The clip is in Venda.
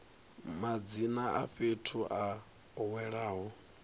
madzina a fhethu a welaho